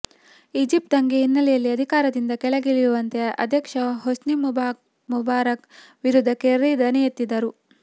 Egypt ದಂಗೆ ಹಿನ್ನೆಲೆಯಲ್ಲಿ ಅಧಿಕಾರದಿಂದ ಕೆಳಗಿಳಿ ಯುವಂತೆ ಅಧ್ಯಕ್ಷ ಹೊಸ್ನಿ ಮುಬಾರಕ್ ವಿರುದ್ಧ ಕೆರ್ರಿ ದನಿ ಎತ್ತಿದ್ದರು